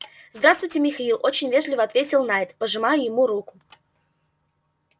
здравствуйте михаил очень вежливо ответил найд пожимая ему руку